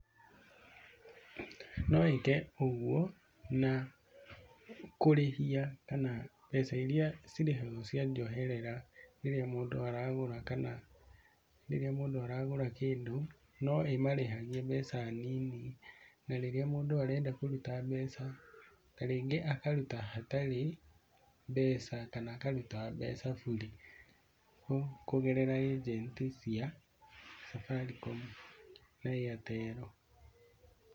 No ĩke ũguo na kũrĩhia kana mbeca iria cirĩhagwo cia njoherera rĩrĩa mũndũ aragũra kana rĩrĩa mũndũ aragũra kĩndũ no ĩmarĩhagie mbeca nini, kana rĩrĩa mũndũ arenda kũruta mbeca, ta rĩngĩ akaruta hatarĩ mbeca kana akaruta mbeca burĩ kũgerera ajenti cia Safaricom na Airtel.